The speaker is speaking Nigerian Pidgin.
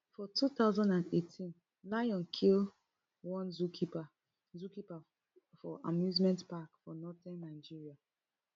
for two thousand and eighteen lion kill one zookeeperfor zookeeperfor amusement park for northern nigeria